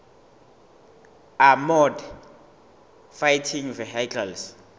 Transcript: armoured fighting vehicles